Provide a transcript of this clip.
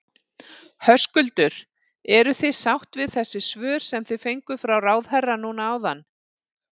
Höskuldur: Eruð þið sátt við þessi svör sem þið fenguð frá ráðherra núna áðan?